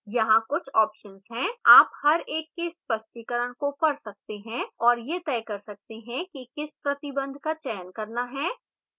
यहाँ कुछ options हैं आप हर एक के स्पष्टीकरण को पढ़ सकते हैं और यह तय कर सकते हैं कि किस प्रतिबंध का चयन करना है